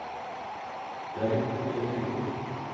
Det er en god del penger.